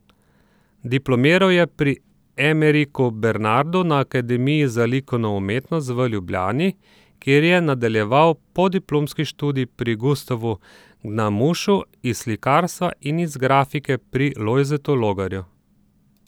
Diplomiral je pri Emeriku Bernardu na Akademiji za likovno umetnost v Ljubljani, kjer je nadaljeval podiplomski študij pri Gustavu Gnamušu iz slikarstva in iz grafike pri Lojzetu Logarju.